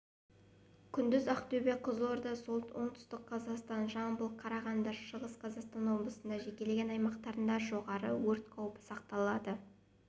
күндіз ақтөбе қызылорда оңтүстік қазақстан жамбыл қарағанды шығыс қазақстан облыстарының жекелеген аумақтарында жоғары өрт қаупі сақталады